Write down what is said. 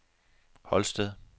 Holsted